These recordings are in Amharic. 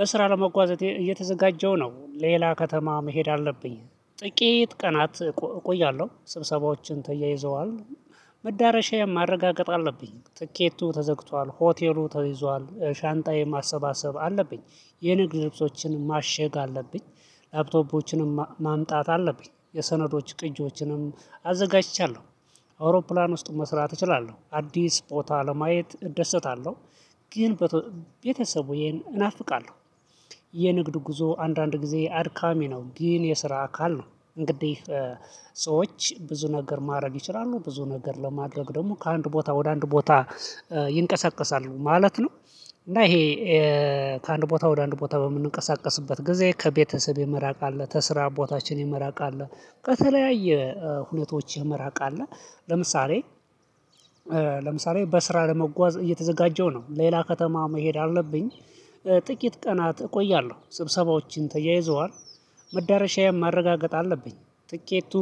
በስራ ለመጓዝ እየተዘጋጀው ነው ሌላ ከተማ መሄድ አለብኝ ጥቂት ቀናት እቆያለሁ ስብሰባዎችን ተያይዘዋል። መዳረሻዬን ማረጋገጥ አለብኝ ትኬቱ ተገዝቷል ሆቴሉ ተይዟል ሻንጣዬን ማሰባሰብ አለብኝ። የንግድ ልብሶችን ማሸግ አለብኝ ላፕቶፖችንም ማምጣት አለብኝ የሰነዶች ቅጂዎችንም አዘጋጅቻለሁ። አውሮፕላን ውስጥ መስራት እችላለሁ አዲስ ቦታ ለማየት እደሰታለሁ። ግን ቤተሰቡ ይሄን እናፍቃለሁ። የንግድ ጉዞ አንዳንድ ጊዜ አድካሚ ነው ግን የስራ አካል ነው። እንግዲህ ሰዎች ብዙ ነገር ማድረግ ይችላሉ ብዙ ነገር ለማድረግ ደግሞ ከአንድ ቦታ ወደ አንድ ቦታ ይንቀሳቀሳሉ ማለት ነው። እና ይሄ ከአንድ ቦታ ወደ አንድ ቦታ በምንንቀሳቀስበት ጊዜ ከቤተሰብ የመራቅ አለ ከስራ ቦታችን የመራቅ አለ በተለያየ ሁኔታዎች መራቅ አለ። ለምሳሌ በስራ ለመጓዝ እየተዘጋጀው ነው ሌላ ከተማ መሄድ አለብኝ። ጥቂት ቀናት እቆያለሁ ስብሰባዎችን ተያይዘዋል። መዳረሻዬን ማረጋገጥ አለብኝ ትኬቱ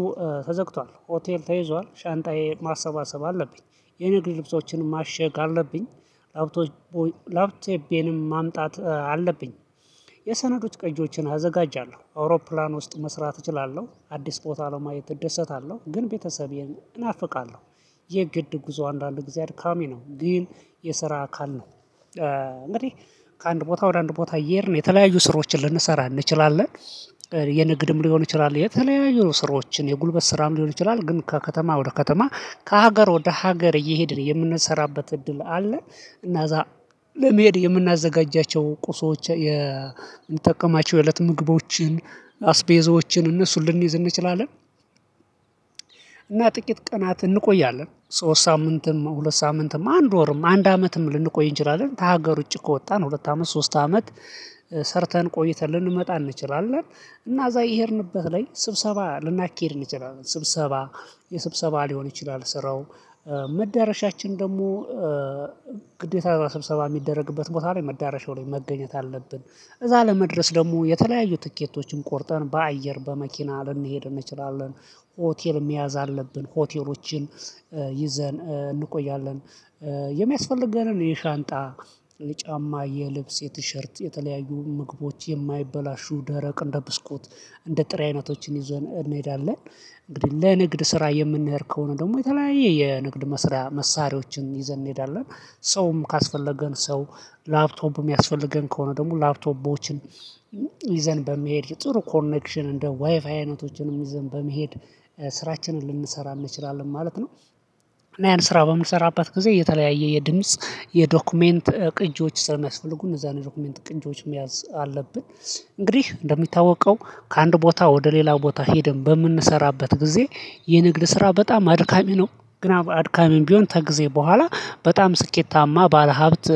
ተዘግቷል ሆቴል ተይዟል ሻንጣዬ ማሰባሰብ አለብኝ የንግድ ልብሶችን ማሸግ አለብኝ። ላፕቶቤንም ማምጣት አለብኝ ቀንጆችን አዘጋጃለሁ አውሮፕላን ውስጥ መስራት እችላለሁ አዲስ ቦታ ለማየት እደሰታለሁ ግን ቤተሰቤን እናፍቃለሁ። የግድ ጉዞ አንዳንድ አድካሚ ነው ግን የስራ አካል ነው። እንግዲህ ከአንድ ቦታ ወደ አንድ ቦታ እየሄድን የተለያዩ ስሮችን ልንሰራ እንችላለን። የንግድም ሊሆን ይችላል የተለያዩ ስራዎችን የጉልበት ስራም ሊሆን ይችላል ግን ከከተማ ወደ ከተማ ከሀገር ወደ ሀገር እየሄድን የምንሰራበት እድል አለ። እና እዛ ለመሄድ የምናዘጋጃቸው ቁሶች የምንጠቀማቸው የእለት ምግቦችን አስቤዞችን እነሱን ልንይዝ እንችላለን። እና ጥቂት ቀናት እንቆያለን ሶስት ሳምንትም ሁለት ሳምንትም አንድ ወርም አንድ አመትም ልንቆይ እንችላለን። ከሀገር ውጪ ከወጣን ሁለት አመት ሶስት አመት ሰርተን ቆይተን ልንመጣ እንችላለን። እና እዛ የሄድንበት ላይ ስብሰባ ልናካሂድ እንችላለን ስብሰባ የስብሰባ ሊሆን ይችላል ስራው መዳረሻችን ደግሞ ግዴታ ስብሰባ እሚደረግበት ቦታ ላይ መዳረሻው ላይ መገኘት አለብን። እዛ ለመድረስ ደግሞ የተለያዩ ትኬቶችን ቆርጠን በአየር በመኪና ልንሄድ እንችላለን። ሆቴል መያዝ አለብን ሆቴሎችን ይዘን እንቆያለን። የሚያስፈልገንን የሻንጣ የጫማ የልብስ የቲሸርት የተለያዩ ምግቦች የማይበላሹ ደረቅ እንደ ብስኮት እንደ ጥሪ አይነቶችን ይዘን እንሄዳለን። እንግዲህ ለንግድ ስራ የምንሄድ ከሆነ ደግሞ የተለያየ የንግድ መስሪያ መሳሪያዎችን ይዘን እንሄዳለን። ሰውም ካስፈለገን ሰው ላፕቶፕም እሚያስፈልገን ከሆነ ደግሞ ላፕቶፖችን ይዘን በመሄድ ጥሩ ኮኔክሽን እንደ ዋይፋይ አይነቶችንም ይዘን በመሄድ ስራችንን ልንሰራ እንችላለን ማለት ነው። እና ያን ስራ በምንሰራበት ጊዜ የተለያየ የድምጽ የዶክመንት ቅጂዎች ስለሚያስፈልጉ እነዛን ዶክመንት ቅጂዎች መያዝ አለብን። እንግዲህ እንደሚታወቀው ከአንድ ቦታ ወደ ሌላ ቦታ ሄደን በምንሰራበት ጊዜ የንግድ ስራ በጣም አድካሚ ነው። ግን አድካሚም ቢሆን ከጊዜ በኋላ በጣም ስኬታማ ባለሀብት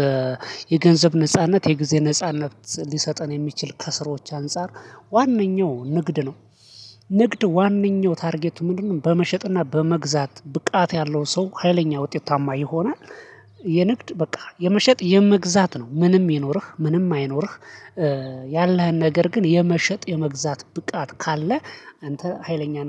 የገንዘብ ነጻነት የጊዜ ነጻነት ሊሰጠን የሚችል ከስሮች አንፃር ዋነኛው ንግድ ነው። ንግድ ዋነኛው ታርጌቱ ምንድነው? በመሸጥና በመግዛት ብቃት ያለው ሰው ሀይለኛ ውጤታማ ይሆናል። የንግድ በቃ የመሸጥ የመግዛት ነው ምንም ይኖርህ ምንም አይኖርህ። ያለህን ነገር ግን የመሸጥ የመግዛት ብቃት ካለ አንተ ሀይለኛ